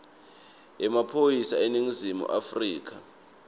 yemaphoyisa eningizimu afrika